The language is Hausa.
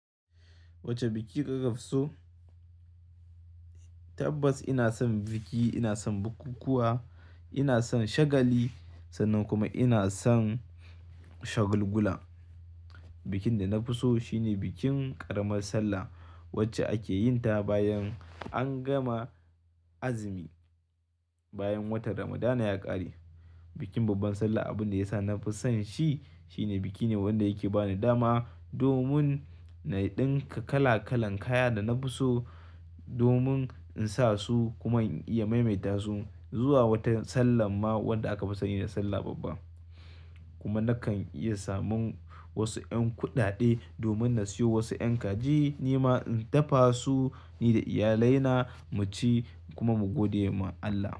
Wace biki kake fi so? Tabbas ina son biki, ina son bukukuwa, ina son shagali sannan kuma ina son shagulgula. Bikin da na fi so shine bikin ƙaramar sallah wacce ake yin ta bayan an gama azumi, bayan watan Ramadana ya ƙare. Bikin babban sallah abin da ya sa na fi son shi, shine biki ne wanda yake ba ni dama domin na ɗinka kala kalan kaya da na fi so domin in sa su kuma in iya maimaita su. Zuwa wata sallan ma wanda aka fi sani da sallah babba. Kuma na kan iya samun wasu ƴan kuɗaɗe domin na siyo wasu ƴan kaji, ni ma in dafa su ni da iyalai na mu ci kuma mu gode ma Allah.